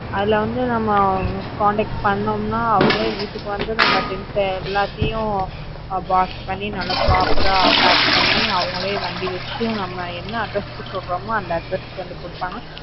அதுல வந்து நம்ம contact பண்ணோம்னா அவங்களே நம்ம வீட்டுக்கு வந்து நம்ம things எல்லாத்தையும் box பண்ணி நல்லா proper ஆ pack பண்ணி அவங்களே வண்டி வச்சு, நம்ம என்ன address க்கு சொல்றமோ அந்த address க்கு வந்து கொடுப்பாங்க.